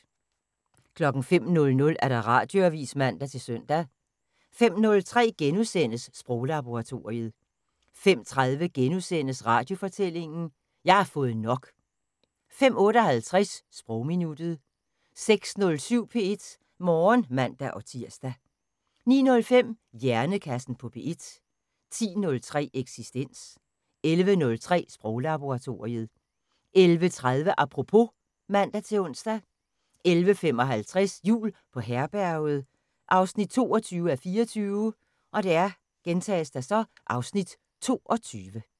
05:00: Radioavis (man-søn) 05:03: Sproglaboratoriet * 05:30: Radiofortællinger: Jeg har fået nok! * 05:58: Sprogminuttet 06:07: P1 Morgen (man-tir) 09:05: Hjernekassen på P1 10:03: Eksistens 11:03: Sproglaboratoriet 11:30: Apropos (man-ons) 11:55: Jul på Herberget 22:24 (Afs. 22)